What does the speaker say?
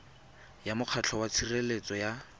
ya mokgatlho wa tshireletso ya